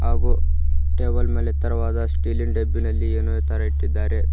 ಹಾಗೂ ಟೇಬಲ್ ಮೇಲೆ ತರವಾದ ಸ್ಟೀಲ್ ಇನ್ ಡಬ್ಬಿನಲ್ಲಿ ಏನೋ ತರ ಇಟ್ಟಿದ್ದಾರೆ.